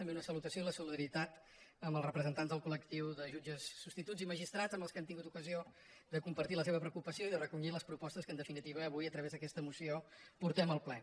també una salutació i la solidaritat amb els representants del col·i magistrats amb els quals hem tingut ocasió de com·partir la seva preocupació i de recollir les propostes que en definitiva avui a través d’aquesta moció por·tem al ple